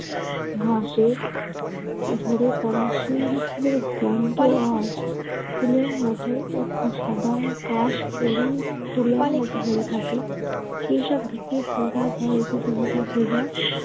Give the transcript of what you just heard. ঘাসের ঝরে পরা শিউলী ফুলের গন্ধ আর ফুলের মত একদম সাদা কাশ পেরিয়ে তুলোর মত হয়ে থাকবে। সেসব ভিত্তির ফুলগাছ হয় এ পৃথিবীর সব ফুল গাছ।